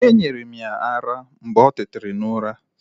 E nyere m ya ara mgbe o tetera n'ura.